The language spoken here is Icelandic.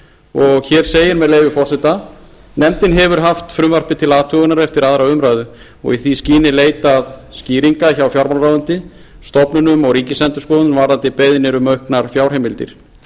og hér segir með leyfi forseta nefndin hefur haft frumvarpið til athugunar eftir aðra umræðu og í því skyni leitað skýringa hjá fjármálaráðuneyti stofnunum og ríkisendurskoðun varðandi beiðnir um auknar fjárheimildir